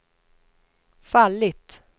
fallit